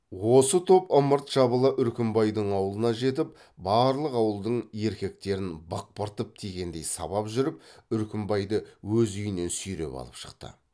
осы топ ымырт жабыла үркімбайдың аулына жетіп барлық ауылдың еркектерін бықпыртып тигендей сабап жүріп үркімбайды өз үйінен сүйреп алып шықты